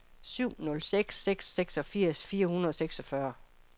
syv nul seks seks seksogfirs fire hundrede og seksogfyrre